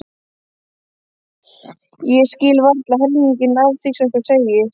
Ég skil varla helminginn af því sem þú segir.